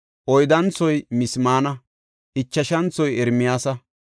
oyddanthoy Mismaana; ichashanthoy Ermiyaasa;